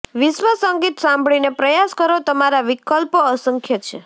વિશ્વ સંગીત સાંભળીને પ્રયાસ કરો તમારા વિકલ્પો અસંખ્ય છે